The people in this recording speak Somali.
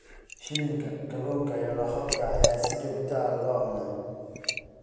Shilinka, kalluunka, iyo lohodka ayaa si joogto ah loo cunaa.